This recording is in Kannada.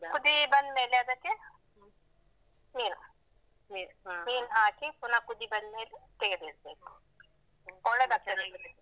ಕುದಿ ಬಂದ್ಮೇಲೆ ಅದಕ್ಕೆ ನೀರು. ನೀರು ಹಾಕಿ ಪುನ ಕುದಿ ಬಂದ್ಮೇಲೆ ತೆಗೆದಿಡ್ಬೇಕು. ಒಳ್ಳೇದ್ ಆಗ್ತದೆ.